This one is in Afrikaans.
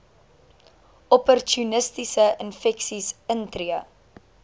opportunistiese infeksies intree